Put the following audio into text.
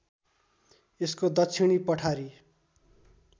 यसको दक्षिणी पठारी